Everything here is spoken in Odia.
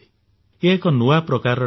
ଏ ଏକ ନୂଆ ପ୍ରକାରର ଠକେଇ